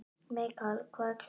Mikael, hvað er klukkan?